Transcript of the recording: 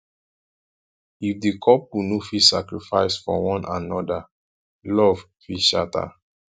if di couple no fit sacrifice for one anoda love fit shatter